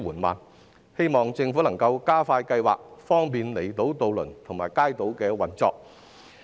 我希望政府能加快計劃，方便離島渡輪及街渡的運作。